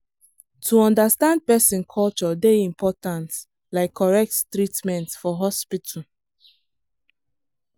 to understand person culture dey important like correct treatment for hospital.